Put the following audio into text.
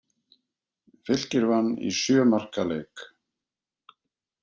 Fylkir vann í sjö marka leik